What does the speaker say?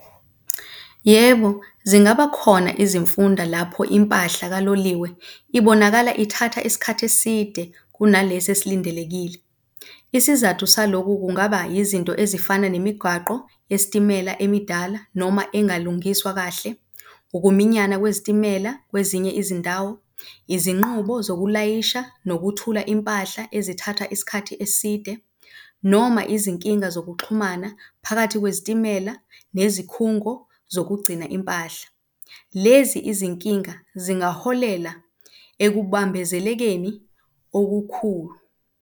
Yebo, zingaba khona izimfunda lapho impahla kaloliwe ibonakala ithatha isikhathi eside kunalesi esilindelekile. Isizathu saloku kungaba izinto ezifana nemigwaqo yesitimela emidala noma engalungiswa kahle, ukuminyana lwezitimela kwezinye izindawo, izinqubo zokulayisha nokuthula impahla ezithatha isikhathi eside, noma izinkinga zokuxhumana phakathi kwezitimela nezikhungo zokugcina impahla. Lezi izinkinga singaholela ekubambezelekeni okukhulu.